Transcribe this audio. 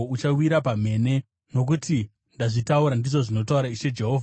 Uchawira pamhene, nokuti ndazvitaura, ndizvo zvinotaura Ishe Jehovha.